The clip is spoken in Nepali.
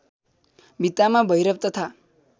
भित्तामा भैरव तथा